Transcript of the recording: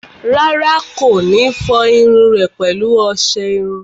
Rárá, kò ní fọ irun rẹ̀ pẹ̀lú ọsẹ iru